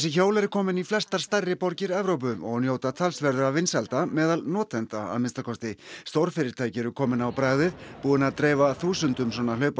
hjól eru komin í flestar stærri borgir Evrópu og njóta talsverðra vinsælda meðal notenda að minnsta kosti stórfyrirtæki eru komin á bragðið búin að dreifa þúsundum svona